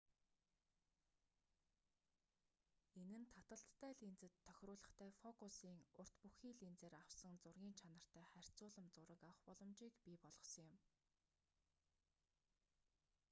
энэ нь таталттай линзэд тохируулгатай фокусын урт бүхий линзээр авсан зургын чанартай харьцуулам зураг авах боломжийг бий болгосон юм